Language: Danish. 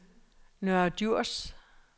Nørre Djurs